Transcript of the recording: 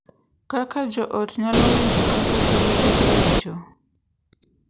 Kaka jo ot nyalo winjo kaka jowetegi winjo